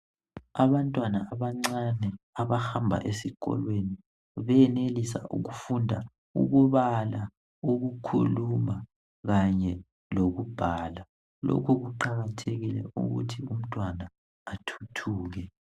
Abantwana abancane abahamba esikolweni benelisa ukufunda ukubala , ukukhuluma kanye lokubhala lokhu kuqakathekile ukuthi umntwana athuthuke.